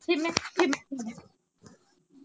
ਕਿੰਨੇ ਕਿੰਨੇ।